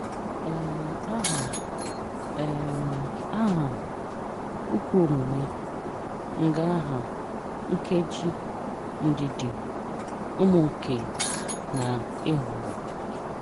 um Aha, um Aha, Ukwuomume, Ngaaha, Nkeji, Ndidi, Ụmụnke, na Ịgbọrọ.